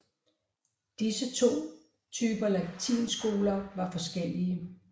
Disse to typer latinskoler var forskellige